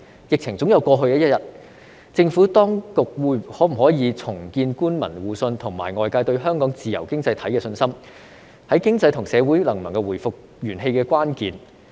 疫情總有過去的一天，政府當局可否重建官民互信及外界對香港自由經濟體的信心，是經濟和社會能否回復元氣的關鍵。